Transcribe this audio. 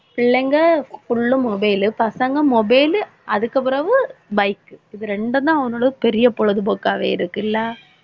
பிள்ளைங்க full உம் mobile பசங்க mobile அதுக்கப்பிறவு bike இது இரண்டும் தான் அவனோட பெரிய பொழுதுபோக்காவே இருக்குல்ல